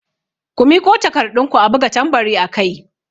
Ku miƙo takarɗun ku a buga tambari akai!